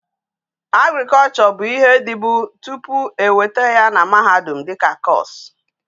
Agriculture bu ihe di bu topu e weta ya na mahadum dika course